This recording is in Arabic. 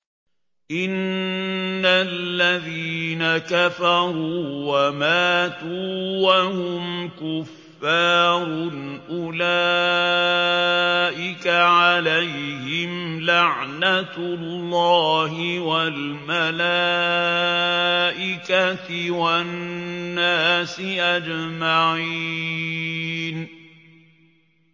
إِنَّ الَّذِينَ كَفَرُوا وَمَاتُوا وَهُمْ كُفَّارٌ أُولَٰئِكَ عَلَيْهِمْ لَعْنَةُ اللَّهِ وَالْمَلَائِكَةِ وَالنَّاسِ أَجْمَعِينَ